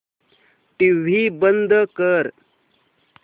TV बंद कर